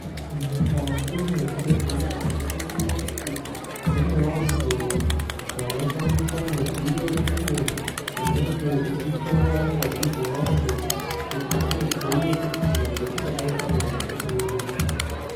Mukati mezvibhedhlera tinoningira Kuti mune vantu vanoshandisa midziyo iyo inenge ichihloya ngazi dzevantu kuti ugone kuona kuti muntu anenge ane hosha iri.